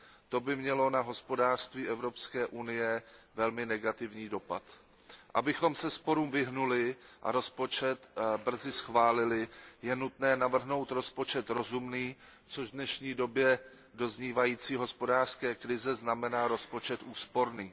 To by mělo na hospodářství Evropské unie velmi negativní dopad. Abychom se sporům vyhnuli a rozpočet brzy schválili, je nutné navrhnout rozpočet rozumný, což v dnešní době doznívající hospodářské krize znamená rozpočet úsporný.